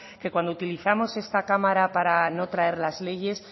que cuando utilizamos esta cámara para no traer las leyes